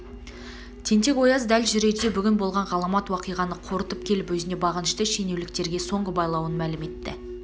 тентек-ояз дәл жүрерде бүгін болған ғаламат уақиғаны қорытып келіп өзіне бағынышты шенеуліктерге соңғы байлауын мәлім етті